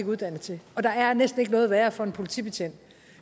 uddannet til og der er næsten ikke noget værre for en politibetjent